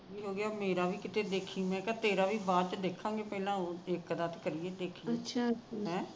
ਮੇਰਾ ਵੀ ਕਿਤੇ ਦੇਖੀ ਮੈ ਕਿਹਾ ਤੇਰਾ ਵੀ ਬਾਅਦ ਚ ਦੇਖਾਗੇ ਸਾਨੂੰ ਪਹਿਲਾ ਇੱਕ ਦਾ ਤਾ ਕਰੀਏ